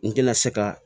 N tɛna se ka